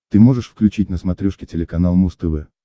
ты можешь включить на смотрешке телеканал муз тв